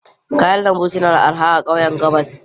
Kayan lambu suna da arha a kauyukan Gabas.